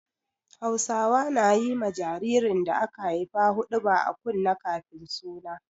Hausawa na yi ma jaririn da aka haifa huɗuba a kunne kafin suna.